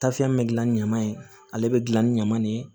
Tafiyɛn bɛ gilan ni ɲaman ye ale bɛ dilan ni ɲaman de ye